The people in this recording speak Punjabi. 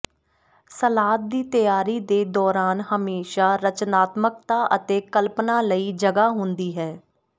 ਸਲਾਦ ਦੀ ਤਿਆਰੀ ਦੇ ਦੌਰਾਨ ਹਮੇਸ਼ਾਂ ਰਚਨਾਤਮਕਤਾ ਅਤੇ ਕਲਪਨਾ ਲਈ ਜਗ੍ਹਾ ਹੁੰਦੀ ਹੈ